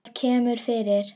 Það kemur fyrir.